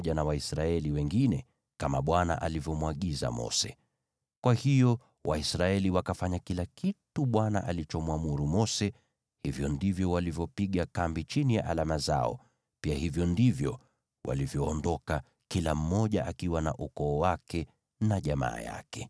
Kwa hiyo Waisraeli wakafanya kila kitu Bwana alichomwamuru Mose. Hivyo ndivyo walivyopiga kambi chini ya alama zao, pia hivyo ndivyo walivyoondoka, kila mmoja akiwa na ukoo wake na jamaa yake.